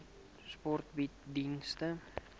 sport bied dienste